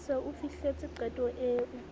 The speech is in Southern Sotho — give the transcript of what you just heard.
se o fihletse qeto eo